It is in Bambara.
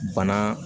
Bana